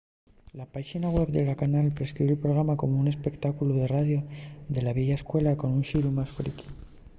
la páxina web de la canal describe’l programa como un espectáculu de radio de la vieya escuela con un xiru más friqui